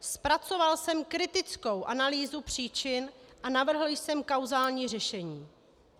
Zpracoval jsem kritickou analýzu příčin a navrhl jsem kauzální řešení.